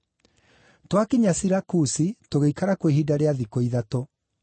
Twakinya Sirakusi tũgĩikara kuo ihinda rĩa thikũ ithatũ.